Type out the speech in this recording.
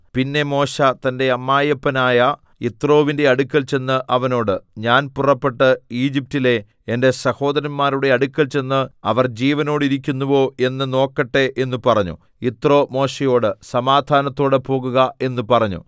പിന്നെ മോശെ തന്റെ അമ്മായപ്പനായ യിത്രോവിന്റെ അടുക്കൽ ചെന്ന് അവനോട് ഞാൻ പുറപ്പെട്ട് ഈജിപ്റ്റിലെ എന്റെ സഹോദരന്മാരുടെ അടുക്കൽ ചെന്ന് അവർ ജീവനോടിരിക്കുന്നുവോ എന്ന് നോക്കട്ടെ എന്ന് പറഞ്ഞു യിത്രോ മോശെയോട് സമാധാനത്തോടെ പോകുക എന്ന് പറഞ്ഞു